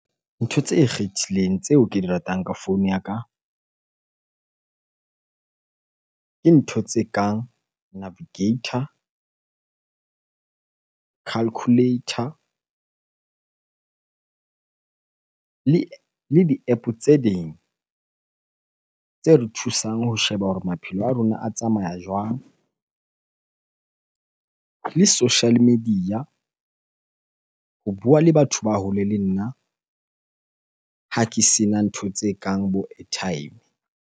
Ntho tse ikgethileng tseo ke di ratang ka founu ya ka. Ke ntho tse kang navigator, calculator le di-App tse ding tse re thusang ho sheba hore maphelo a rona a tsamaya jwang. Le social media ho bua le batho ba hole le nna ha ke sena ntho tse kang bo airtime.